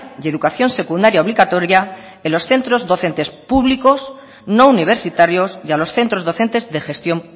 y educación secundaria obligatoria en los centros docentes públicos no universitarios y a los centros docentes de gestión